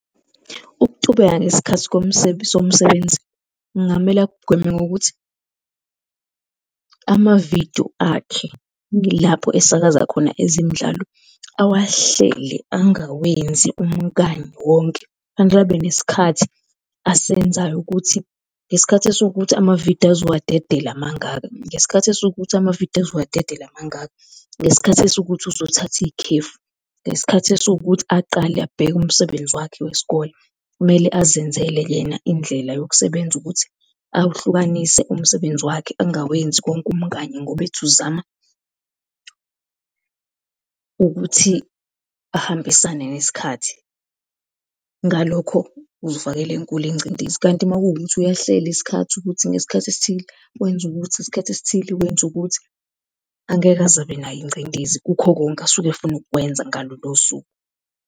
Ukutubeka ngesikhathi somsebenzi kungamele akugweme ngokuthi amavidiyo akhe ilapha esakaza khona ezemidlalo, awahlele angawenzi umkanye wonke. Kufanele abe nesikhathi asebenzayo ukuthi ngesikhathi esiwukuthi amavidiyo azowadedela mangaka, ngesikhathi esiwukuthi amavidiyo azowadedela mangaka, ngesikhathi esiwukuthi uzothatha ikhefu, ngesikhathi esiwukuthi aqale abheke umsebenzi wakhe wesikole. Kumele azenzele yena indlela yokusebenza ukuthi awuhlukanise umsebenzi wakhe angawenzi konke umkanye ngoba ethi uzama ukuthi ahambisane nesikhathi. Ngalokho uzifakela enkulu ingcindezi, kanti makuwukuthi uyahlala isikhathi ukuthi ngesikhathi esithile kwenza ukuthi, ngesikhathi esiwukuthi wenza ukuthi, angeke aze abe nayo ingcindezi kukho konke asuke efuna ukwenza ngalolo suku.